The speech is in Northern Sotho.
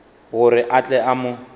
gore a tle a mo